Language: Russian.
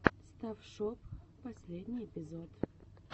стафф шоп последний эпизод